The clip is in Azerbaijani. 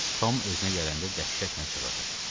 Tom özünə gələndə dəhşətlə çığırdı.